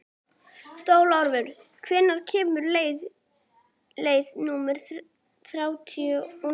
Stórólfur, hvenær kemur leið númer þrjátíu og níu?